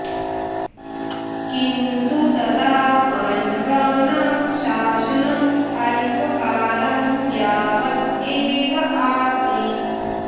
किन्तु तदा पाण्ड्यानां शासनम् अल्पकालं यावत् एव आसीत्